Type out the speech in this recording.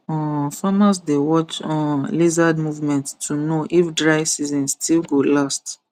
um farmers dey watch um lizard movement to know if dry season still go last